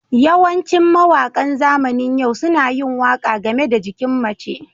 Yawancin mawaƙa zamanin yau suna yin waƙa game da jikin mace.